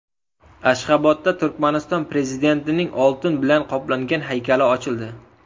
Ashxobodda Turkmaniston Prezidentining oltin bilan qoplangan haykali ochildi.